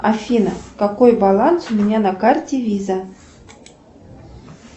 афина какой баланс у меня на карте виза